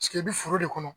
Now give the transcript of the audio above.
Sigi i bɛ foro de kɔnɔ